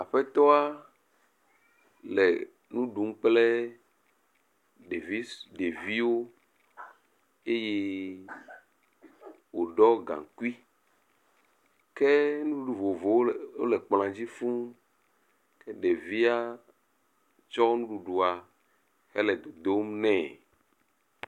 Aƒetɔ a le nu ɖum kple devi ɖeviwo eye woɖɔ gaŋkui ke nuɖuɖu vovovowo le ole kplɔ̃a dzi fũu. Ɖevia kɔ nuɖuɖua hele dodom nɛ.